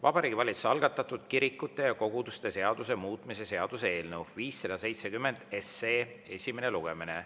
Vabariigi Valitsuse algatatud kirikute ja koguduste seaduse muutmise seaduse eelnõu 570 esimene lugemine.